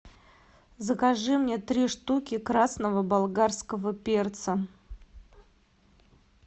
закажи мне три штуки красного болгарского перца